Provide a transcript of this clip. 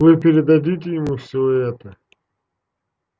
вы передадите ему всё это